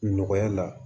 Nɔgɔya la